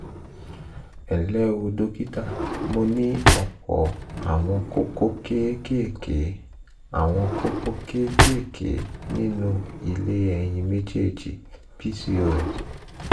ẹnlẹ́ o dókítà mo ní ọ̀pọ̀ àwọn kókó kéékèèké àwọn kókó kéékèèké nínú ilé ẹyin méjèèjì (pcos)